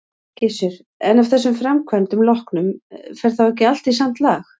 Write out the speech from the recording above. Gissur: En af þessum framkvæmdum loknum, fer þá ekki allt í samt lag?